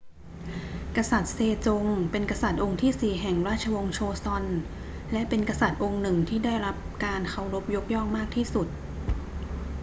กษัตริย์เซจงเป็นกษัตริย์องค์ที่สี่แห่งราชวงศ์โชซอน และเป็นกษัตริย์องค์หนึ่งที่ได้รับการเคารพยกย่องมากที่สุด